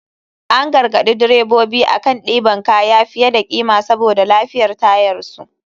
An garagaɗi drebobi akan ɗiban kaya fiye da kima saboda lafiyar tayarsu.